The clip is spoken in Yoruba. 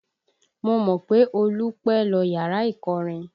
Mo mọ̀ pé Olú pẹ́ lọ yàrá ìkọrin